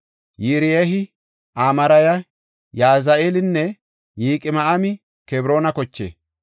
Yiriyey, Amaarey, Yahazi7eelinne Yiqam7aami Kebroona koche.